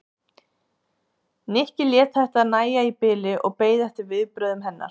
Nikki lét þetta nægja í bili og beið eftir viðbrögðum hennar.